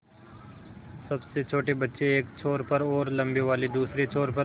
सबसे छोटे बच्चे एक छोर पर और लम्बे वाले दूसरे छोर पर